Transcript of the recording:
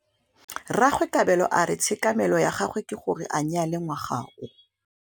Rragwe Kabelo a re tshekamêlô ya gagwe ke gore a nyale ngwaga o.